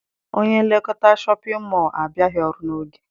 Onye nlekọta Shọpịn mọọ a abịaghị ọrụ n'oge.